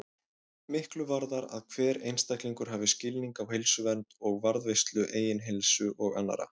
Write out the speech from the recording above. Miklu varðar að hver einstaklingur hafi skilning á heilsuvernd og varðveislu eigin heilsu og annarra.